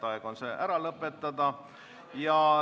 Aeg on see ära lõpetada.